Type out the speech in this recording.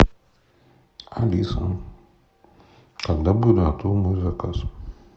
алиса когда будет готов мой заказ